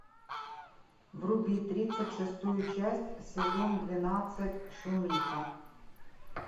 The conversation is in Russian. вруби тридцать шестую часть сезон двенадцать шумиха